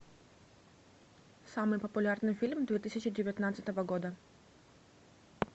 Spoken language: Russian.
самый популярный фильм две тысячи девятнадцатого года